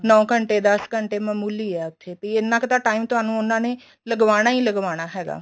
ਨੋਂ ਘੰਟੇ ਦਸ ਘੰਟੇ ਤਾਂ ਮਾਮੂਲੀ ਏ ਉੱਥੇ ਬੀ ਇੰਨਾ ਕ ਤਾਂ time ਤੁਹਾਨੂੰ ਉਹਨਾ ਨੇ ਲਗਵਾਨਾ ਈ ਲਗਵਾਨਾ ਹੈਗਾ